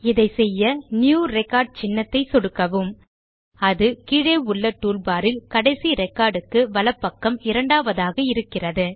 இதை செய்ய புதிய ரெக்கார்ட் சின்னத்தை சொடுக்கவும் அது கீழே உள்ள டூல்பாரில் கடைசி ரெகார்டுக்கு வலப்பக்கம் இரண்டாவதாக இருக்கிறது